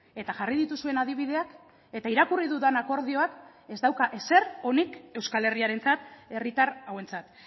eta jarri dituzuen adibideak eta irakurri dudan akordioak ez dauka ezer onik euskal herriarentzat herritar hauentzat